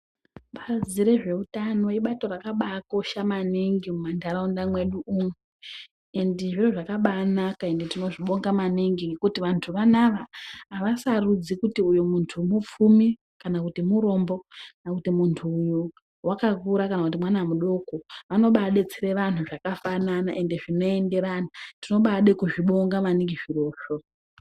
Bazi rezveutano ibato rakabaakosha maningi mumantaraunda mwedu umu endi zviro zvakabaanaka ende tinozvibonga maningi nekuti vantu vanava havasarudzi kuti iyo muntu mupfumi kana kuti murombo kana kuti muntu uwu wakakura kana kuti mwana mudoko. Vanobaadetsere vantu zvakafanana ende zvinoenderana. Tinobaade kuzvibonga maningi zvirozvo.